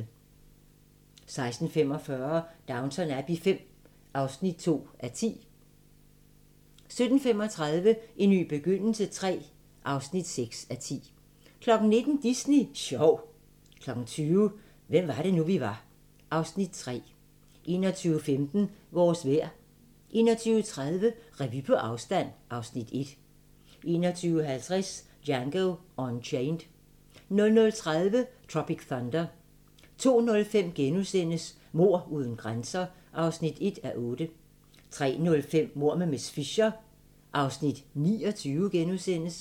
16:45: Downton Abbey V (2:10) 17:35: En ny begyndelse III (6:10) 19:00: Disney sjov 20:00: Hvem var det nu, vi var (Afs. 3) 21:15: Vores vejr 21:30: Revy på afstand (Afs. 1) 21:50: Django Unchained 00:30: Tropic Thunder 02:05: Mord uden grænser (1:8)* 03:05: Mord med miss Fisher (29:13)*